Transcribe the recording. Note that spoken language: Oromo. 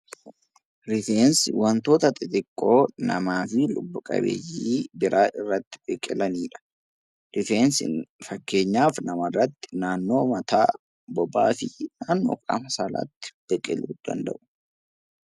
Rifeensi wantoota xixiqqoo lubbu-qabeeyyii irratti biqilanidha. Rifeensi fakkeenyaaf namarratti naannoo mataa, bobaa fi kan qaama saala irratti biqiludha